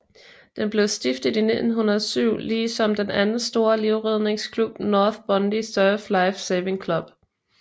Den blev stiftet i 1907 ligesom den anden store livredningsklub North Bondi Surf Life Saving Club